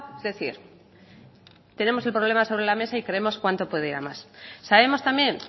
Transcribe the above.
es decir tenemos el problema sobre la mesa y creemos cuánto puede ir a más sabemos también